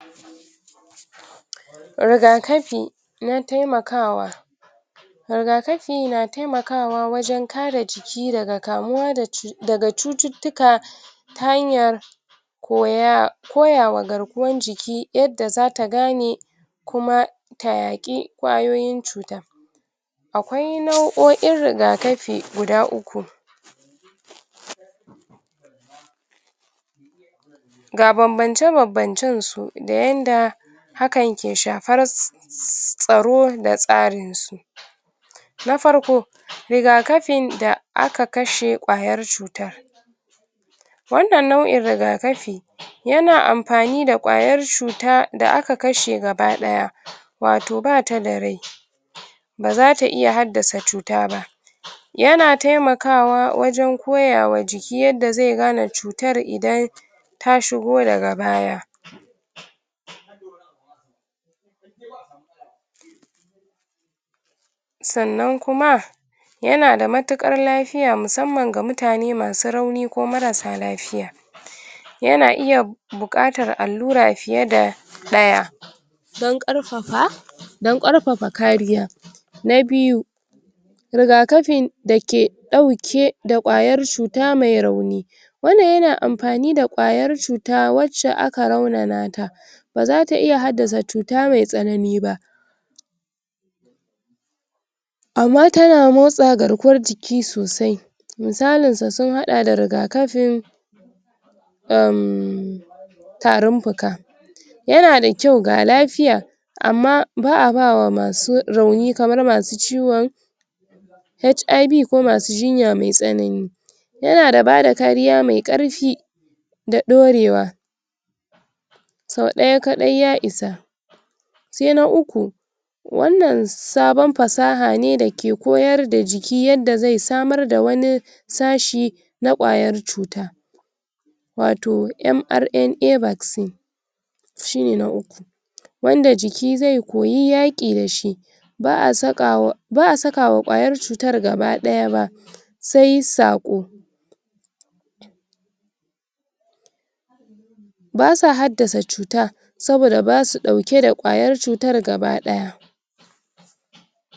rigakafi na taimakawa rigakafi na taimakawa wajen kare jiki daga kamuwa daga cututtuka ta hanyar koya koyawa garkuwan jiki yanda zata gane kuma ta yaƙi ƙwayoyin cuta akwai nau'o'in rigakafi guda uku ga banbance banbancen su da yanda haka ke shafar tsaro da tsarin su na farko rigakafin da aka kashe ƙwayar cuta wannan nau'in rigakafi yana amfani da ƙwayar cuta da aka kashe gaba ɗaya wato bata da rai bazata iya haddasa cuta ba yana taimakawa wajen koya wa jiki yadda zai gane cutar idan ta shigo daga baya sannan kuma yana da matuƙar lafiya musamman ga mutane masu rauni ko marassa lafiya yana iya buƙatar allura fiye da ɗaya dan ƙarfafa dan ƙarfafa kariya. Na biyu rigakafin dake ɗauke da ƙwayar cuta mai rauni wannan yana amfani da ƙwayar cuta wacce aka raunana ta bazata iya haddasa cuta mai tsanani ba. ama tana motsa garkuwar jiki sosai misalinsa sun haɗa da rigakafin umm tarin fuka yana da kyau ga lafiya amma ba'a bama rauni kamar masu ciwon HIV ko masu jinya mai tsanani, yana da bada kariya mai ƙarfi da ɗorewa sau ɗaya kaɗai ya isa sai na uku wannan sabon fasaha ne dake koyar da jiki yadda zai samar da wani sashi na ƙwayar cuta wato MRNA vaccine shine na uku wanda jiki zai koyi yaƙi dashi ba'a sakawa ba'a sakawa ƙwayar cutar gaba ɗaya ba sai saƙo. basa haddasa cuta saboda basu ɗauke da ƙwayar cutar gaba ɗaya.